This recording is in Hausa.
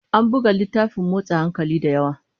An buga littafin motsa hankali da yawa.